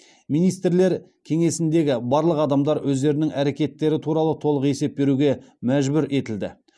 министрлер кеңесіндегі барлық адамдар өздерінің әрекеттері туралы толық есеп беруге мәжбүр етілді